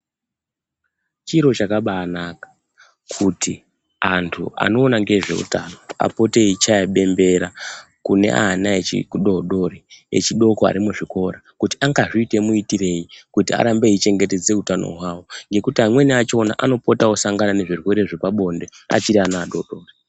Chiro chakabaanaka, kuti antu anoona ngezveutano apote eichaya bembera kune ana echidodori, echidoko ari muzvikora. Kuti angazviite muitirei kuti arambe eichengetedze utano hwawo, ngekuti amweni achona anopotawo osangana nezvirwere zvepabonde achiri ana adodori.